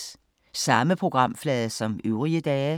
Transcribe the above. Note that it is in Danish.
Samme programflade som øvrige dage